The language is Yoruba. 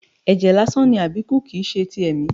Ẹjẹ lásán ni Abiku, kìí ṣe ti ẹ̀mí.